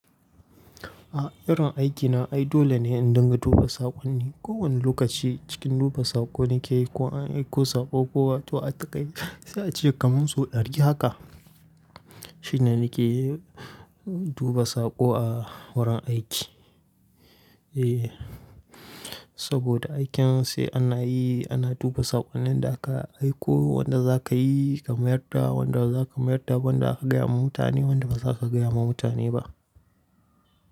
A'a irin aikina ai dole ne in dinga duba saƙonni. Ko wani lokaci cikin duba saƙo nake yi ko an aiko saƙo ko wato ba a aiko ba. Zan ce kamar so ɗari haka shine nake duba saƙo a wurin aiki. Eh Saboda aikin sai ana yi ana duba saƙonnin da aka aiko, wanda za ka yi ka mayar da, wanda baza ka mayar da ba, wanda zaka gaya wa mutane, wanda ba za ka gaya wa mutane ba.